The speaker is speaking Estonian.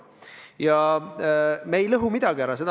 Ja me ei lõhu midagi ära.